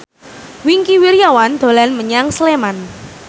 Wingky Wiryawan dolan menyang Sleman